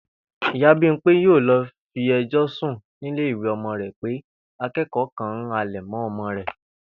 Ìyá Bímpé yóò lo̩ fi e̩jò̩ sùn nílé ìwé o̩mo̩ rè̩ pé aké̩kò̩ó̩ kan ń halè̩ mó̩ o̩mo̩ rè̩